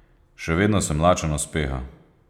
Še vedno sem lačen uspeha.